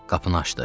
Qapını açdı.